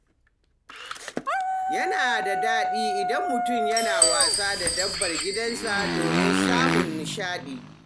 Yana da daɗi idan mutum yana wasa da dabbar gidansa domin samun nishaɗi.